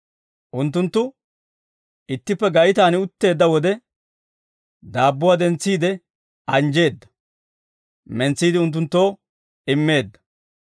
Unttunttu ittippe gaytaan utteedda wode, daabbuwaa dentsiide anjjeedda; mentsiide unttunttoo immeedda.